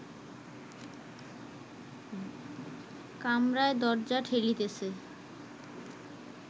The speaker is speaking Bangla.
কামরায় দরজা ঠেলিতেছে